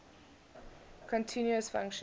continuous function